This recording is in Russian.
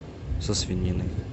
со свининой